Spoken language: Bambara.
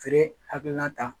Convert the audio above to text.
Feere hakilina ta